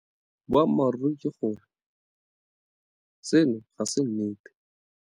Boammaruri ke gore seno ga se nnete.